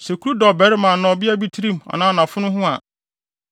“Sɛ kuru da ɔbarima anaa ɔbea bi tirim anaa nʼafono ho a,